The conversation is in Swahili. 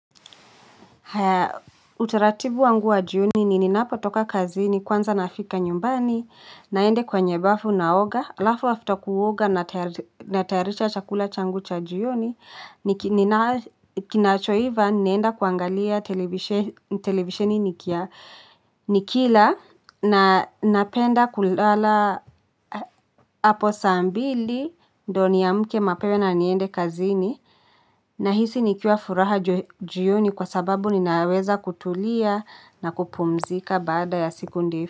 Haa, utaratibu wangu wa jioni ni ninapo toka kazini kwanza nafika nyumbani, naende kwenye bafu naoga, alafu afta kuoga na tayaricha chakula changu cha jioni, kinachoiva nienda kuangalia televisheni nikia, nikila na napenda kulala apo saa mbili, ndo niamke mapema na niende kazi ni, nahisi nikiwa furaha jioni kwa sababu ninaweza kutulia na kupumzika baada ya siku ndefu.